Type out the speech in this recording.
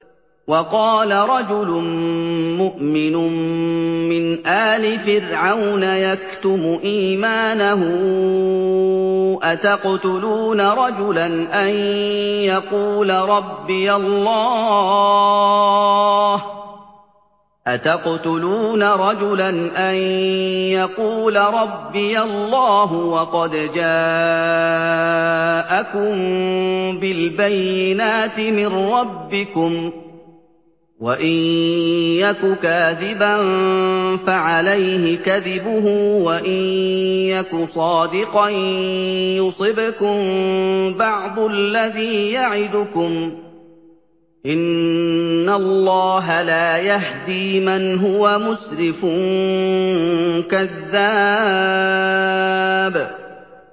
وَقَالَ رَجُلٌ مُّؤْمِنٌ مِّنْ آلِ فِرْعَوْنَ يَكْتُمُ إِيمَانَهُ أَتَقْتُلُونَ رَجُلًا أَن يَقُولَ رَبِّيَ اللَّهُ وَقَدْ جَاءَكُم بِالْبَيِّنَاتِ مِن رَّبِّكُمْ ۖ وَإِن يَكُ كَاذِبًا فَعَلَيْهِ كَذِبُهُ ۖ وَإِن يَكُ صَادِقًا يُصِبْكُم بَعْضُ الَّذِي يَعِدُكُمْ ۖ إِنَّ اللَّهَ لَا يَهْدِي مَنْ هُوَ مُسْرِفٌ كَذَّابٌ